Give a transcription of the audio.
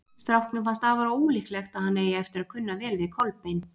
Stráknum finnst afar ólíklegt að hann eigi eftir að kunna vel við Kolbein.